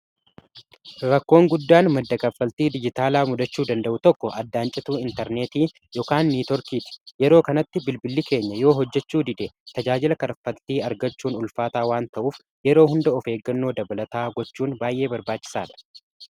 Rakkoon guddaan madda kaffaltii dijitaalaa mudachuu danda'u tokko addaan cituu intarneetii ykn neetoorkii yeroo kanatti bilbilli keenya yoo hojjechuu dide tajaajila karaffaltii argachuun ulfaataa waan ta'uuf yeroo hunda of eeggannoo dabalataa gochuun baay'ee barbaachisaa dha.